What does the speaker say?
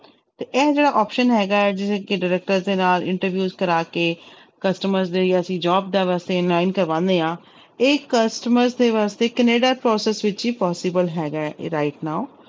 ਤੇ ਇਹ ਜਿਹੜਾ option ਹੈਗਾ ਹੈ ਜਿਵੇਂ ਕਿ director ਦੇ ਨਾਲ interviews ਕਰਵਾ ਕੇ customer ਦੇ ਅਸੀਂ job ਕਰਵਾਉਂਦੇ ਹਾਂ ਇਹ customer ਦੇ ਵਾਸਤੇ ਕੈਨੇਡਾ process ਵਿੱਚ ਹੀ possible ਹੈਗਾ ਹੈ ਇਹ right now